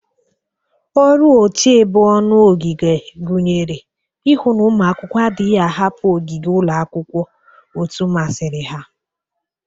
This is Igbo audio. Ọrụ ochebe ọnụ ogige gụnyere ihu na ụmụ akwụkwọ adịghị ahapụ ogige ụlọ akwụkwọ otu masiri ha.